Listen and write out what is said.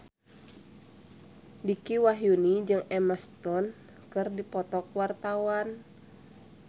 Dicky Wahyudi jeung Emma Stone keur dipoto ku wartawan